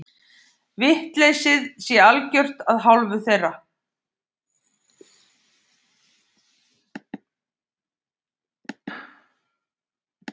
Viljaleysið sé algjört af hálfu þeirra